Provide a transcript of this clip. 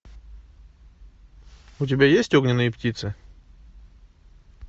у тебя есть огненные птицы